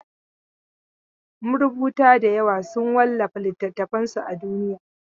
Marubuta dayawa sun wallafa littatafansu a duniya.